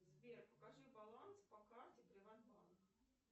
сбер покажи баланс по карте приват банк